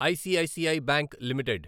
ICICI bank limited